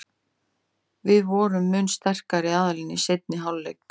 Við vorum mun sterkari aðilinn í seinni hálfleik.